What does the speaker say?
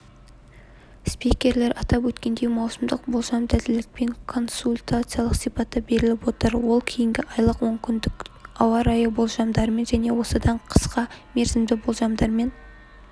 спикерлер атап өткендей маусымдық болжам дәлелділікпен консультациялық сипатта беріліп отыр ол кейіннен айлық онкүндіктік ауа-райы болжамдарымен және осыдан қысқа мерзімді болжамдармен